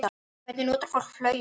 En hvernig notar fólk flauel?